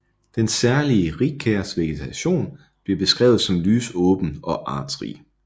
Den særlige rigkærsvegetation bliver beskrevet som lysåben og artsrig